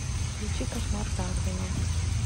включи кошмар дарвина